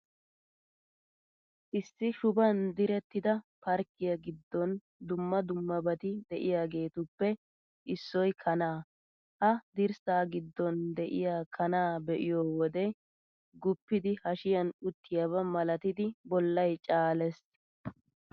Issi shuban direttida parkkiyaa giddon dumma dummabati de'iyaageetuppe issoy kanaa. Ha dirssaa giddon de'iyaa kanaa be'iyo wodee, guppidi hashiyan uttiyaaba malatidi bollay caalees.